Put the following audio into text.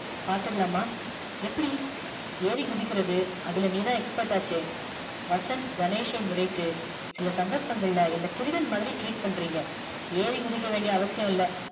பாத்துடலாமா எப்படி ஏறி குதிக்கிறது அதுல நீதா expert ஆச்சே வசந்த் கணேஷ் யை முறைத்து சில சந்தற்பதுல என்ன திருடன் மாதிரி treat பண்ணிறிங்க ஏறி குதிக்க வேண்டிய அவசியம் இல்லை